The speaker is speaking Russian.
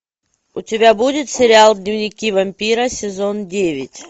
у тебя будет сериал дневники вампира сезон девять